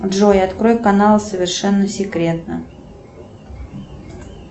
джой открой канал совершенно секретно